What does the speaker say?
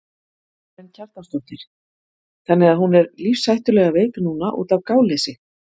Karen Kjartansdóttir: Þannig að hún er lífshættulega veik núna útaf gáleysi?